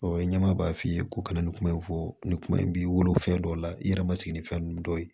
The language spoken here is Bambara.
ɲɛmaa b'a f'i ye ko ka na nin kuma in fɔ nin kuma in bi wolo fɛn dɔw la i yɛrɛ ma sigi ni fɛn nunnu dɔw ye